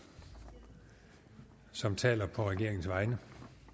som taler på regeringens vegne